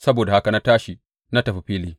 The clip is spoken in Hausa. Saboda haka na tashi da tafi fili.